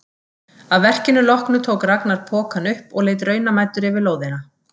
Að verkinu loknu tók Ragnar pokann upp og leit raunamæddur yfir lóðina.